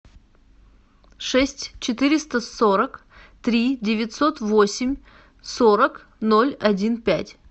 шесть четыреста сорок три девятьсот восемь сорок ноль один пять